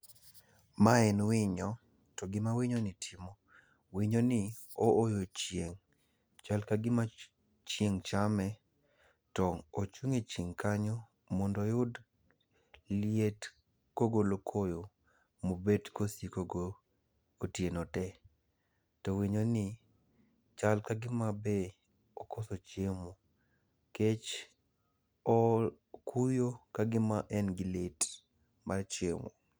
Ma en winyo to gima winyo ni timo, winyo ni ooyo chieng'. Chal ka gima chieng' chame to ochung' e chieng' kanyo mondo oyud liet kogolo koyo mobet kosiko go otieno te. To winyo ni chal kagima be okoso chiemo. Nikech okuyo kagima en gi lit mar chiemo.